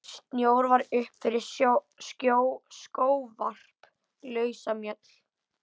Snjór var upp fyrir skóvarp, lausamjöll.